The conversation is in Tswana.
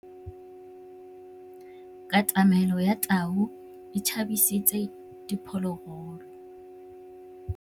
Katamêlô ya tau e tshabisitse diphôlôgôlô.